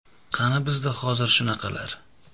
Qani bizda hozir shunaqalar?..